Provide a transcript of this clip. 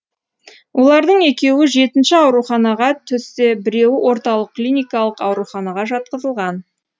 олардың екеуі жетінші ауруханаға түссе біреуі орталық клиникалық ауруханаға жатқызылған